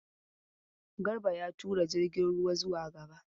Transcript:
Garba ya tura jirgin ruwa zuwa gaba.